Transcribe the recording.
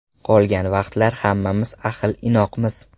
Qolgan vaqtlar hammamiz ahil-inoqmiz.